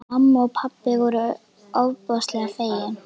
Og mamma og pabbi voru ofboðslega fegin.